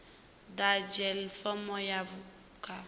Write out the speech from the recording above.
ḓadze fomo ya khumbelo vha